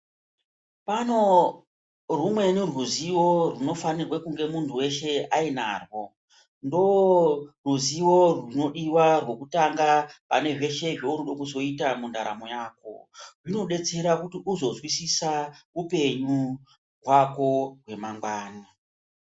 Pano humweni ruzivo runofanirwa kunge muntu veshe ainarwo. Ndoruzivo rwunodiva rwekutanga pane zveshe zvaurikuda kuzoita mundaramo yako. Zvinobetsera kuti uzozwisisa upenyu hwako hwemangwani.